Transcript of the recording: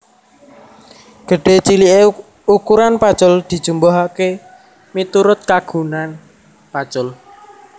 Gedhé ciliké ukuran pacul dijumbuhaké miturut kagunan pacul